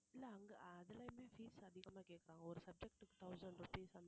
இல்ல அங்க அதுலையுமே fees அதிகமா கேக்கறாங்க ஒரு subject க்கு thousand rupees அந்த